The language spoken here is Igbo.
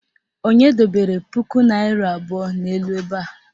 Onye dobere puku naịra abụọ n'elu ebe a?